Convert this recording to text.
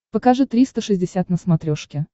покажи триста шестьдесят на смотрешке